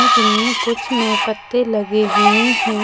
जिनमें कुछ में पत्ते लगे हुए है।